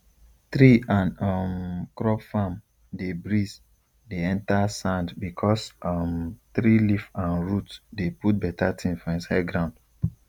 tree and um crop farm dey breeze dey enter sand because um tree leaf and root dey put better thing for inside ground